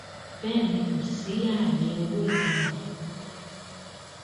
bẹẹ ni kò sí ààyè owó ìtanràn fún un rárá